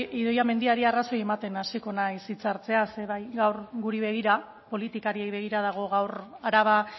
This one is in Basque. idoia mendiari arrazoia ematen hasiko naiz hitza hartzea ze gaur guri begira politikariei begira dago gaur araba